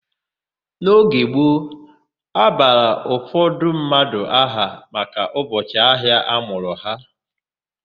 N'oge gboo, a bara ụfọdụ mmadụ aha maka ụbọchị ahịa amụrụ ha.